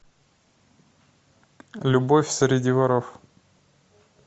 любовь среди воров